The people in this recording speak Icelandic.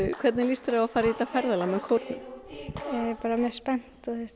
hvernig líst þér á að fara í þetta ferðalag með kórnum mjög spennt þú veist